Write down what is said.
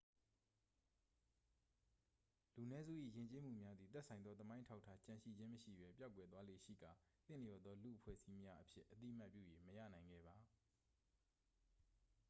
လူနည်းစု၏ယဉ်ကျေးမှုများသည် သက်ဆိုင်သောသမိုင်းအထောက်အထားကျန်ရှိခြင်းမရှိဘဲ ပျောက်ကွယ်သွားလေ့ရှိကာ သင့်လျော်သော လူ့အဖွဲ့အစည်းများအဖြစ် အသိအမှတ်ပြု၍ မရနိုင်ခဲ့ပါ